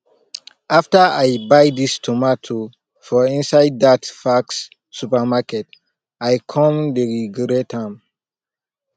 after i buy this tomatoes for inside that faxx supermarket i come dey regret am